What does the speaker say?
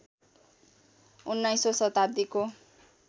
१९औं शताब्दीको